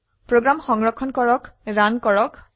program সংৰক্ষণ কৰে run কৰক